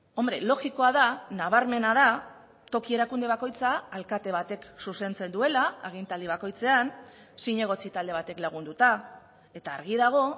hombre logikoa da nabarmena da toki erakunde bakoitza alkate batek zuzentzen duela agintaldi bakoitzean zinegotzi talde batek lagunduta eta argi dago